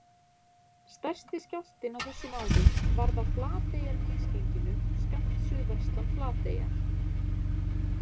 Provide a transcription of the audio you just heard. Stærsti skjálftinn á þessum árum varð á Flateyjarmisgenginu skammt suðvestan Flateyjar.